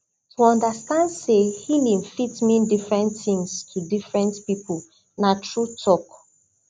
to understand say healing fit mean different things to different people na true talk